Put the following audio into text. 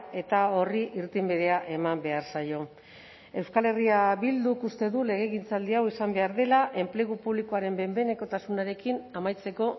eta horri irtenbidea eman behar zaio euskal herria bilduk uste du legegintzaldi hau izan behar dela enplegu publikoaren behin behinekotasunarekin amaitzeko